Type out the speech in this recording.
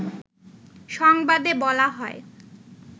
সংবাদে বলা হয়